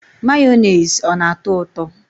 Mayonezi ọ na atọ ụtọ?